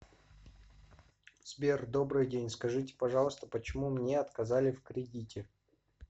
сбер добрый день скажите пожалуйста почему мне отказали в кредите